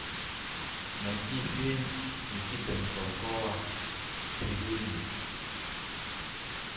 найти фильм никиты михалкова цирюльник